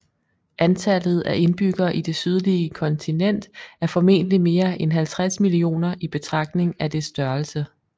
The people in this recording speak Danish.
Antallet af indbyggere i det sydlige kontinent er formentligt mere end 50 millioner i betragtning af dets størrelse